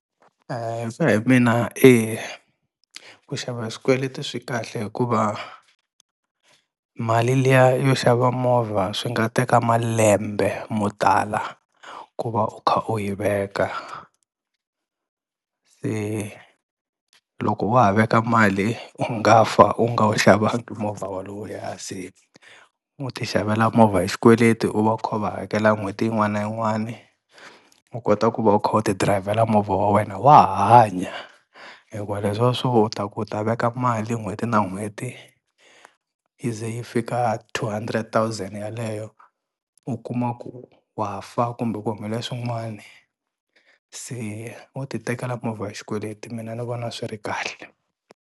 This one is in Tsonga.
Hi ku ya mina eku xava hi xikweleti hi swi kahle hikuva, mali liya yo xava movha swi nga teka malembe mo tala ku va u kha u yi veka, se loko wa ha veka mali u nga fa u nga wu xavangi movha wolowuya se ho ti xavela movha hi xikweleti u va u kha u va hakela n'hweti yin'wana na yin'wani u kota ku va u kha u ti dirayivhela movha wa wena wa ha hanya hikuva leswiya swo u ta ku u ta veka mali n'hweti na n'hweti yi ze yi fika two hundred thousand yaleyo u kuma ku wa fa kumbe ku humelela swin'wani se wo ti tekela movha hi xikweleti mina ni vona swi ri kahle.